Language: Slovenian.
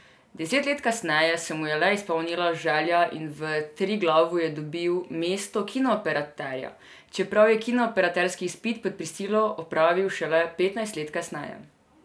Deset let kasneje se mu je le izpolnila želja in v Triglavu je dobil mesto kinooperaterja, čeprav je kinooperaterski izpit pod prisilo opravil šele petnajst let kasneje.